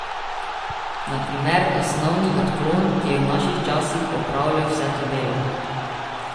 Na primer osnovni odklon, ki je v naših časih opravljal vse to delo.